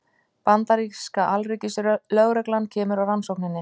Bandaríska alríkislögreglan kemur að rannsókninni